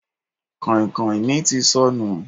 Kàìnkàìn mi ti sọnù.